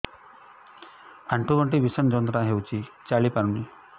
ଆଣ୍ଠୁ ଗଣ୍ଠି ଭିଷଣ ଯନ୍ତ୍ରଣା ହଉଛି ଚାଲି ପାରୁନି